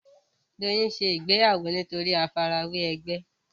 Doyin ń ṣe ìgbéyàwó nítorí àfi ara wẹ ègbé